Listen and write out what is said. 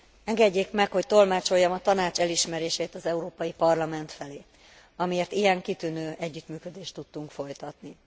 Engedjék meg, hogy tolmácsoljam a Tanács elismerését az Európai Parlament felé, amiért ilyen kitűnő együttműködést tudtunk folytatni.